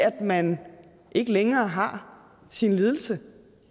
at man ikke længere har sin lidelse